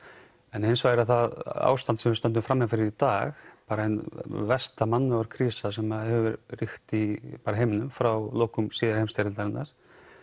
en hins vegar er það ástand sem við stöndum frammi fyrir í dag bara ein versta mannúðarkrísa sem hefur ríkt í heiminum frá lokum síðari heimsstyrjaldar